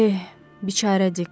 Eh, bikarədik.